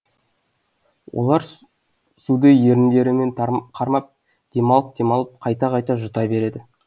олар суды еріндерімен қармап демалып демалып қайта қайта жұта береді